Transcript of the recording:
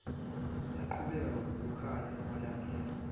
laqhubeka nokukhanya emalangeni